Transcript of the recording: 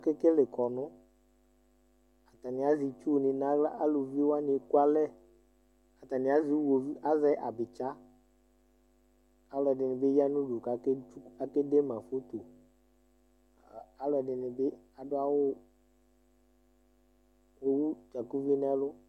Aka kele avitasɛ atani azɛ itsuni nu aɣla aluvi wani eku alɛ atani azɛ uwovi azɛ abitsa alu ɛdini bi ya nu udu ku akazɛ atami iyoyui wani alu ɛdini bi adu awu ewu ɛluvlɛku nu ɛlu